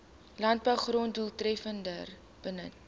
landbougrond doeltreffender benut